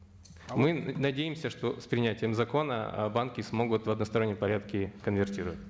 мы надеемся что с принятием закона ы банки смогут в одностороннем порядке конвертировать